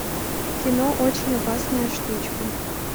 кино очень опасная штучка